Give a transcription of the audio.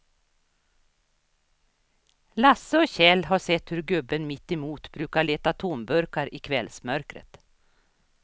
Lasse och Kjell har sett hur gubben mittemot brukar leta tomburkar i kvällsmörkret.